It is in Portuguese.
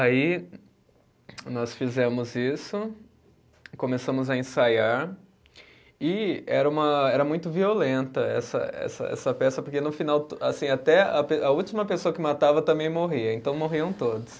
Aí nós fizemos isso, começamos a ensaiar, e era uma, era muito violenta essa essa, essa peça, porque no final to, assim, até a pe, a última pessoa que matava também morria, então morriam todos.